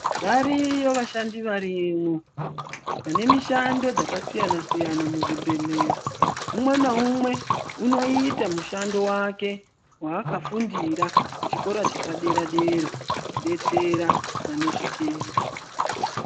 Variyo vashandi variyo vane mishando dzakasiyana siyana muzvibhehlera. Umwe naumwe unoite mushando vakwe vaakafundira kuchikora chepadera kudetsera vannezvitenda.